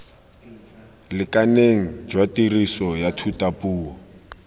lekaneng jwa tiriso ya thutapuo